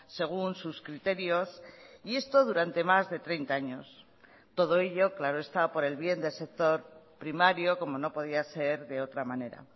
según sus criterios y esto durante más de treinta años todo ello claro está por el bien del sector primario como no podía ser de otra manera